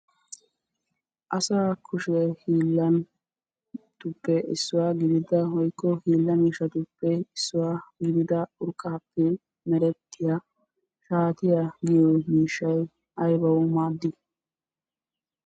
Asaa kushiya hiillatuppe issuwa gidida woyikko hiilla miishshatuppe issuwa gidida urqqaappe merettiya shaatiya giyo miishshay aybawu maaddii?